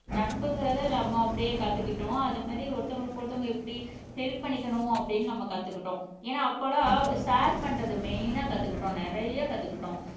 நட்புங்கிறதை நம்ம அப்படியே கத்துக்கிட்டோம் அது மாதிரி ஒருத்தவங்களுக்கு ஒருத்தவங்க எப்படி ஹெல்ப் பண்ணிக்கணும் அப்படின்னு நம்ம கத்துக்கிட்டோம் ஏன்னா அப்போ எல்லாம் ஷேர் பண்றது மெய்னா கத்துக்கிட்டோம் நிறைய கத்துக்கிட்டோம்.